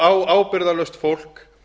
á ábyrgðarlaust fólk